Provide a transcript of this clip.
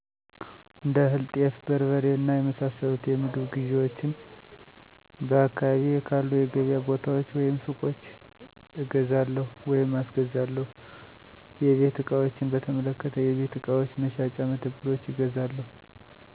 እንደ እህል፣ ጤፍ፣ በርበሬ እና የመሳሰሉት የምግብ ግዢዎቼን በአካባቢየ ካሉ የገበያ ቦታዎች ወይም ሱቆች እገዛለሁ/አስገዛለሁ/ ። የቤት ዕቃዎችን በተመለከተ የቤት ዕቃዎች መሸጫ መደብሮች እገዛለሁ።